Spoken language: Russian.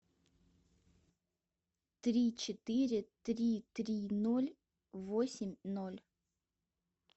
три четыре три три ноль восемь ноль